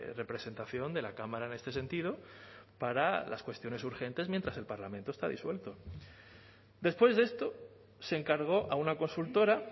representación de la cámara en este sentido para las cuestiones urgentes mientras el parlamento está disuelto después de esto se encargó a una consultora